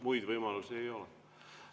Muid võimalusi ei ole.